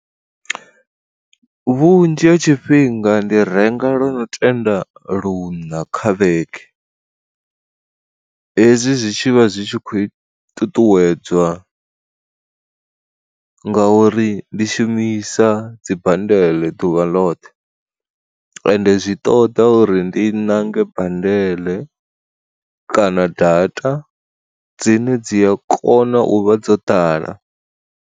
Vhunzhi ha tshifhinga ndi renga lo no tenda luṋa kha vhege, hezwi zwi tshi vha zwi tshi kho i ṱuṱuwedzwa ngauri ndi shumisa dzimbandeḽe ḓuvha ḽoṱhe, ende zwi ṱoḓa uri ndi nange bandeḽe kana data dzine dzi a kona u vha dzo ḓala.